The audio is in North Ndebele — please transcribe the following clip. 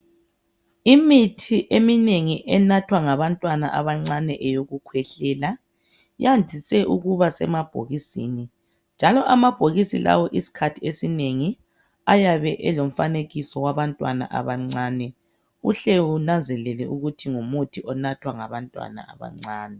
Imithi eminengi enathwa ngabantwana abancane yokukhwehlela yandise ukuba semabhokisini. Njalo amabhokisi lawo isikhathi esinengi ayabe elomfanekiso wabantwana abancane uhle unanzelele ukuthi ngumuthi onathwa ngabantwana abancane.